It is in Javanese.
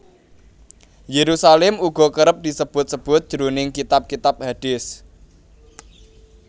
Yerusalem uga kerep disebut sebut jroning kitab kitab hadist